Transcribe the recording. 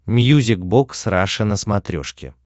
мьюзик бокс раша на смотрешке